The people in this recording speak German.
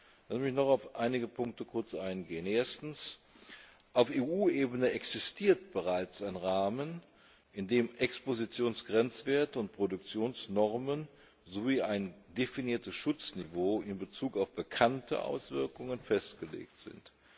Lassen Sie mich noch auf einige Punkte kurz eingehen Erstens Auf EU Ebene existiert bereits ein Rahmen, in dem Expositionsgrenzwerte und Produktionsnormen sowie ein definiertes Schutzniveau in Bezug auf bekannte Auswirkungen festgelegt sind.